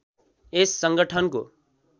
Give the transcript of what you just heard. यस संगठनको